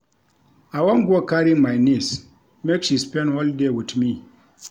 I wan go carry my neice make she spend holiday wit me.